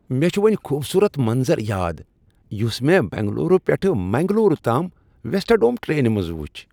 مےٚ چُھ وُنہِ خوبصورت منظر یاد یس مےٚ بنگلورو پٮ۪ٹھ منگلورو تام وسٹاڈوم ٹرینہِ منٛز وُچھ ۔